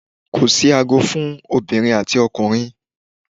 Ko si aago fún obìnrin àti ọkùnrin